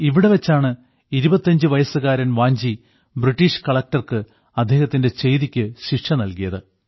ഇവിടെ വെച്ചാണ് 25 വയസ്സുകാരൻ വാഞ്ചി ബ്രിട്ടീഷ് കളക്ടർക്ക് അദ്ദേഹത്തിന്റെ ചെയ്തിയ്ക്കു ശിക്ഷ നൽകിയത്